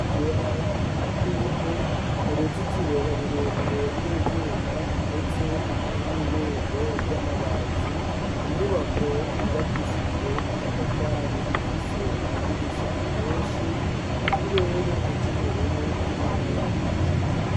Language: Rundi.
Ibarabara ry'ivu ,uruzitiro rurerure rw'ivyuma ndetse n'irembo ry'amabati, inyubako yubakishijwe amatafari ifise amadirisha menshi ,ikirere c'ubururu kirimwo ibicu.